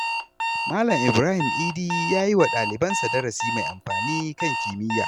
Malam Ibrahim Idi ya yi wa ɗalibansa darasi mai amfani kan kimiyya.